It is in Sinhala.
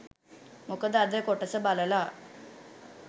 මොකද අද කොටස බලලා